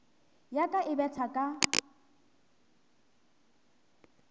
ya ka e betha ka